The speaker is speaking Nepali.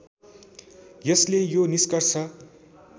यसले यो निष्कर्ष